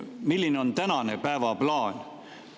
Milline on tänane päevaplaan?